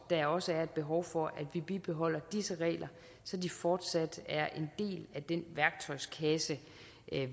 der også er et behov for at vi bibeholder disse regler så de fortsat er en del af den værktøjskasse